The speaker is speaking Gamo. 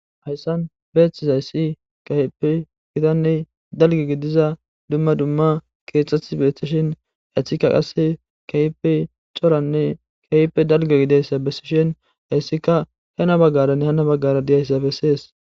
hayssan beeththizayssi keehippe gitanne dalge gidiza dumma dumma keetheti beethtishin etika qass keehippe coranne keehippe dalge gideyssa bessishin hayssika hena baggaranne han baggara diyaysa bessees